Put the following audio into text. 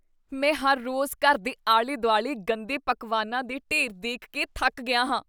ਮੈਂ ਹਰ ਰੋਜ਼ ਘਰ ਦੇ ਆਲੇ ਦੁਆਲੇ ਗੰਦੇ ਪਕਵਾਨਾਂ ਦੇ ਢੇਰ ਦੇਖ ਕੇ ਥੱਕ ਗਿਆ ਹਾਂ